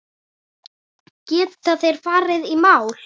Geta þeir farið í mál?